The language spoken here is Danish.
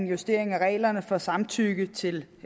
justere reglerne for samtykke til